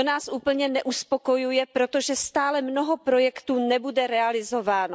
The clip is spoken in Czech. To nás úplně neuspokojuje, protože stále mnoho projektů nebude realizováno.